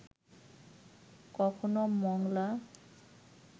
কখনও মোংলা